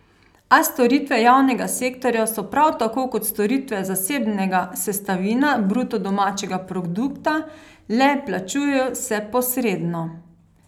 A storitve javnega sektorja so prav tako kot storitve zasebnega sestavina bruto domačega produkta, le plačujejo se posredno.